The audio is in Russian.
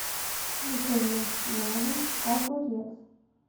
закажи на дом огурец